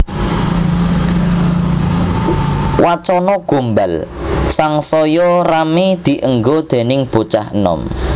Wacana gombal sangsaya ramé dienggo déning bocah enom